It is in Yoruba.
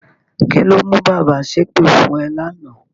Kí ló mú bàbá ṣépè fún ẹ lánàá?